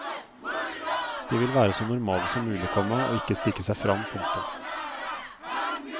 De vil være så normale som mulig, komma og ikke stikke seg frem. punktum